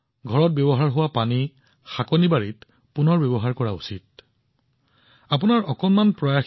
ঘৰত ব্যৱহৃত পানী বাগিচাত ব্যৱহাৰ কৰিব পাৰি যাক পুনৰ ব্যৱহাৰ কৰিব পাৰি সেয়া পুনৰ ব্যৱহাৰ কৰিব লাগিব